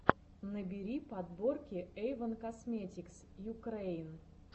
набери подборки эйвон косметикс юкрэин